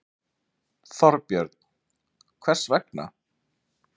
Þorbjörn: Hvers vegna?